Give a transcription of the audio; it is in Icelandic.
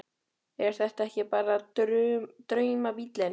Þórhildur: Er þetta ekki bara draumabíllinn?